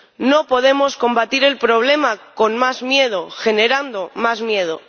No podemos combatir el problema con más miedo, generando más miedo.